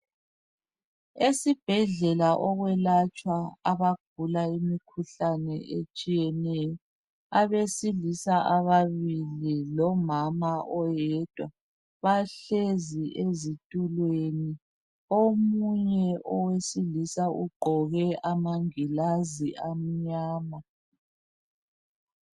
Esibhedlela okwelatshwa abagula imikhuhlane etshiyeneyo .Abesilisa ababili lomama oyedwa bahlezi ezitulweni omunye owesilisa ugqoke amangilazi amnyama .